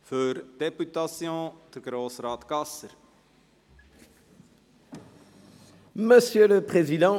Für die Députation hat Peter Gasser das Wort.